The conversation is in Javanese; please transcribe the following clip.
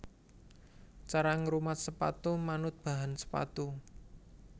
Cara ngrumat sepatu manut bahan sepatu